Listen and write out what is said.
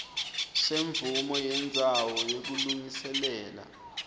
semvumo yendzawo yekulungiselela